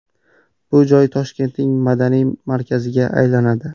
Bu joy Toshkentning madaniy markaziga aylanadi.